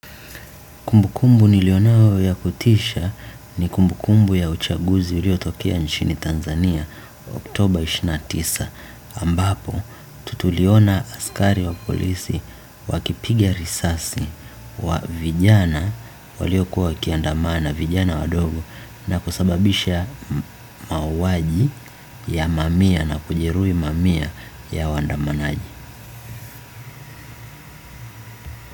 Kumbukumbu niliyonayo ya kutisha ni kumbukumbu ya uchaguzi ulio tokea nchini Tanzania, Oktober ishirini na tisa ambapo tutuliona askari wa polisi wakipigia risasi kwa vijana walio kuwa wakiandamana vijana wadogo na kusababisha mauaji ya mamia na kujeruhi mamia ya waandamanaji.